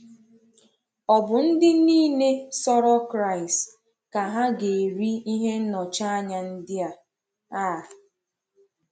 Ò bụ ndị niile sọrọ Kraịst ka ha gà-eri ihe nnọchianya ndị a? a?